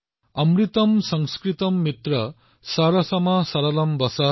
अमृतम् संस्कृतम् मित्र सरसम् सरलम् वचः